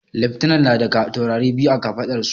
Leftana na da taurarai biyu a kafaɗar su